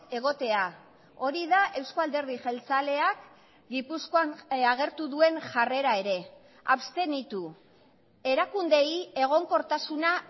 egotea hori da euzko alderdi jeltzaleak gipuzkoan agertu duen jarrera ere abstenitu erakundeei egonkortasuna